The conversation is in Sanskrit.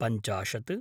पञ्चाशत्